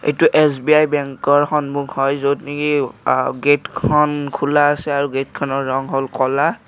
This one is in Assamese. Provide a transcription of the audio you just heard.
এইটো এছ_বি_আই বেংকৰ সন্মুখ হয় য'ত নেকি অ গেটখন খোলা আছে আৰু গেটখনৰ ৰং হ'ল ক'লা আ--